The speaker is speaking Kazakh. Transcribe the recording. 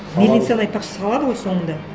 мельницаны айтпақшы салады ғой соңында